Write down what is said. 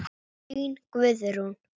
Þín, Guðrún.